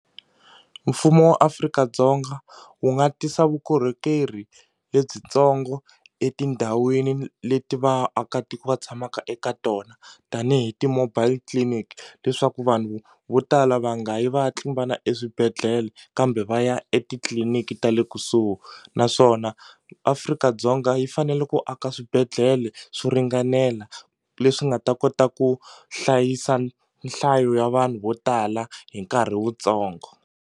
Mfumo wa Afrika-Dzonga wu nga tisa vukorhokeri lebyintsongo etindhawini leti vaakatiko va tshamaka eka tona tanihi ti-mobile clinic leswaku vanhu vo tala va nga yi va ya tlimbana eswibedhlele kambe va ya etitliliniki ta le kusuhi naswona Afrika-Dzonga yi fanele ku aka swibedhlele swo ringanela leswi nga ta kota ku hlayisa nhlayo ya vanhu vo tala hi nkarhi wutsongo.